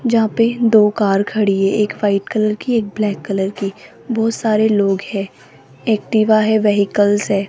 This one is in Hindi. जहां पे दो कार खड़ी है एक वाइट कलर की एक ब्लैक कलर की बहोत सारे लोग हैं एक्टिव है व्हीकल --